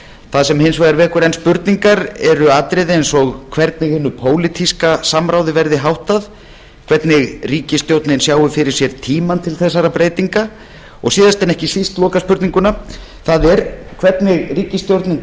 það sem hins vegar vekur enn spurningar eru atriði eins og hvernig hinu pólitíska samráði verði háttað hvernig ríkisstjórnin sjái fyrir sér tímann til þessara breytinga og síðast en ekki síst lokaspurningin það er hvernig ríkisstjórnin